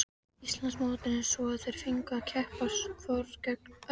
Íslandsmótinu svo að þeir fengju að keppa hvor gegn öðrum.